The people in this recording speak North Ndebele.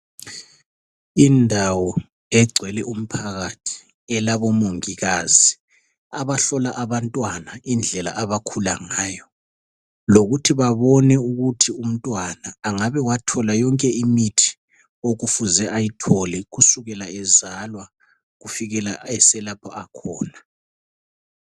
Indawo egcwele umphakathi. Elabomongikazi , abahlola abantwana, indlela abakhula ngayo. Lokuthi babone ukuthi umntwana, angabe wathola yonke imithi okufuze ayithole, kusukela ezalwa, kufikela eselapho akhona.